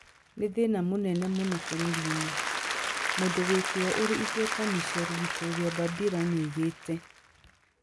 "Nĩ thĩna mũnene mũno bũrũri-inĩ," mũndũ wĩ kĩyo ũrĩ igweta Michela Vittoria Bambira nĩ oigire